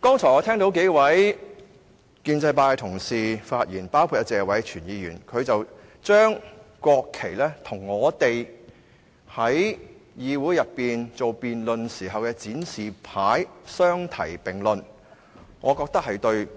剛才我聽到幾位建制派的議員同事發言，當中謝偉銓議員把國旗和我們在議會內辯論時展示的標語牌相提並論，我認為這是對